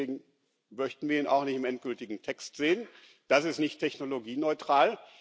Deswegen möchten wir ihn auch nicht im endgültigen Text sehen. Das ist nicht technologieneutral.